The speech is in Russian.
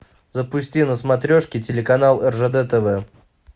запусти на смотрешке телеканал ржд тв